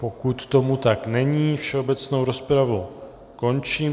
Pokud tomu tak není, všeobecnou rozpravu končím.